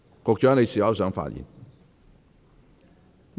局長，你是否想發言？